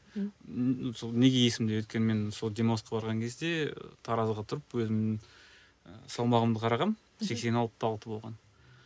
сол неге есімде өйткені мен сол демалысқа барған кезде таразыға тұрып өзімнің і салмағымды қарағанмын сексен алты да алты болған